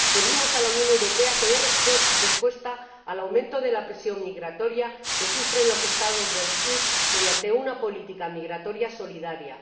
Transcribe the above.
Pedimos a la Unión Europea que dé respuesta al aumento de la presión migratoria que sufren los Estados del sur mediante una política migratoria solidaria